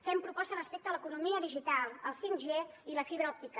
fem propostes respecte a l’economia digital el 5g i la fibra òptica